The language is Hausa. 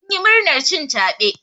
Sun yi murnar cin caɓe.